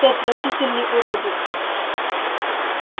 ты отвратительный уродец